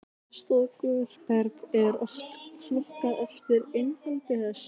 storkuberg er oft flokkað eftir innihaldi þess